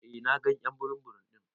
Eh na gan y'an burum burum din.